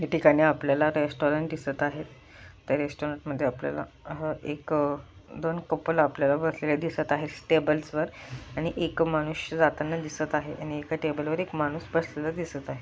या ठिकाणी आपल्याला रेस्टॉरंट दिसत आहे त्या रेस्टॉरंट मध्ये आपल्याला हा एक दोन कपल आपल्याला बसलेले दिसत आहे टेबल्स वर आणि एक मनुष्य जाताना दिसत आहे आणि एका टेबल वर माणूस बसलेला दिसत आहे.